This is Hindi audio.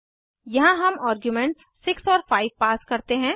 यहाँ हम आर्ग्यूमेंट्स 6 और 5 पास करते हैं